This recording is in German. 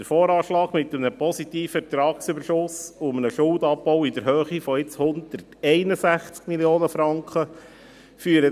Der VA weist einen positiven Ertragsüberschuss und einem Schuldenabbau in der Höhe von jetzt 161 Mio. Franken aus.